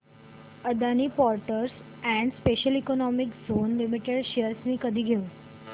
Adani ports and special economic zone limited shares मी कधी घेऊ